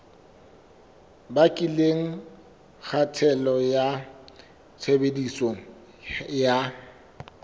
bakileng kgatello ya tshebediso ya